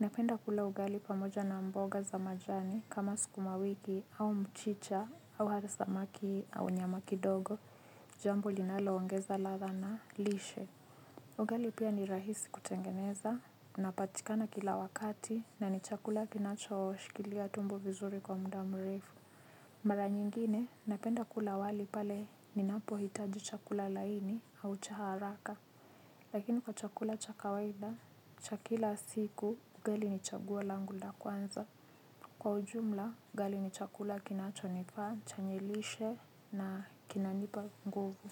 Napenda kula ugali pamoja na mboga za majani kama sukuma wiki au mchicha au hata samaki au nyama kidogo. Jambo linalo ongeza ladha na lishe ugali pia ni rahisi kutengeneza. Napatikana kila wakati na ni chakula kinacho shikilia tumbo vizuri kwa muda mrefu. Mara nyingine napenda kula wali pale ninapo hitaji chakula laini au cha haraka. Lakini kwa chakula cha kawaida cha kila siku ugali ni chaguo langu la kwanza. Kwa ujumla ugali ni chakula kinacho nifaa chenye lishe na kinanipa nguvu.